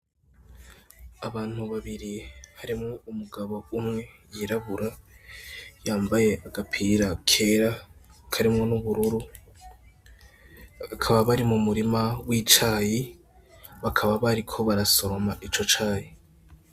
Abantu babiri harimwo umugabo umwe yirabura yambaye agapira kera karimwo n'ubururu akaba bari mu murima w'icayi bakaba bariko barasoma ico caye.